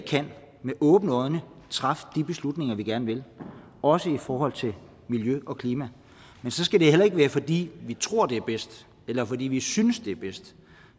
med åbne øjne træffe de beslutninger vi gerne vil også i forhold til miljø og klima men så skal det heller ikke være fordi vi tror det er bedst eller fordi vi synes det er bedst